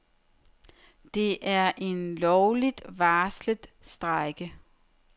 Det er en lovligt varslet strejke.